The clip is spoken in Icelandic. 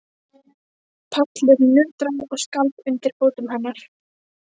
Pallurinn nötraði og skalf undir fótum hennar.